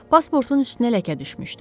Pasportun üstünə ləkə düşmüşdü.